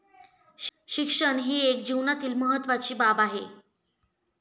शिक्षण ही एक जीवनातील महत्वाची बाब आहे.